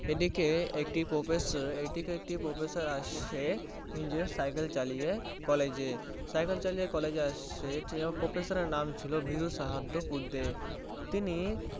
একদিকে একটি Professor আসে নিজের Cycle চালিয়ে College এ সেই Professor এর নাম ছিল বিরু সাহাদ্দ পুড্ডি